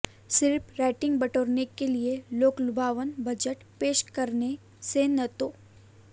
सिर्फ रेटिंग बटोरने के लिए लोकलुभावन बजट पेश करने से न तो